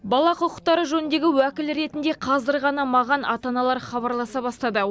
бала құқықтары жөніндегі уәкіл ретінде қазір ғана маған ата аналар хабарласа бастады